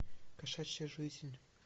кошачья жизнь